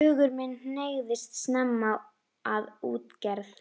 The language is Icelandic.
Hugur minn hneigðist snemma að útgerð.